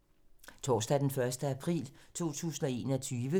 Torsdag d. 1. april 2021